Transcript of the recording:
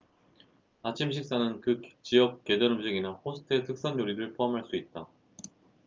아침 식사는 그 지역 계절 음식이나 호스트의 특선 요리를 포함할 수 있다